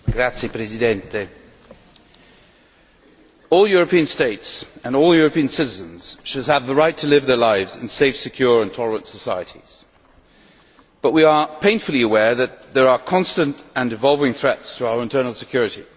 Mr President, all European states and all European citizens should have the right to live their lives in safe, secure and tolerant societies, but we are painfully aware that there are constant and evolving threats to our internal security.